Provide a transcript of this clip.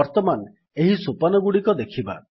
ବର୍ତ୍ତମାନ ଏହି ସୋପାନଗୁଡିକ ଦେଖିବା